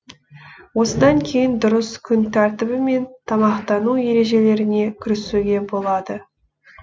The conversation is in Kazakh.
осыдан кейін дұрыс күн тәртібі мен тамақтану ережелеріне кірісуге болады